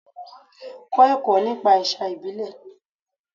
Kọ́ ẹ̀kọ́ nípa ẹ̀sà ìbílẹ̀.